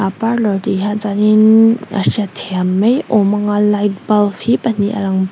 a parlour tih hian chuan inn a hriat thiam mai awm a nga light bulb hi pahnih a lang--